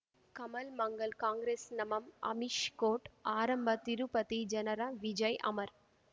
ಕಮಲ್ ಮಂಗಳ್ ಕಾಂಗ್ರೆಸ್ ನಮಃ ಅಮಿಷ್ ಕೋರ್ಟ್ ಆರಂಭ ತಿರುಪತಿ ಜನರ ವಿಜಯ್ ಅಮರ್